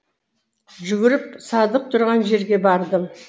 жүгіріп садық тұрған жерге бардым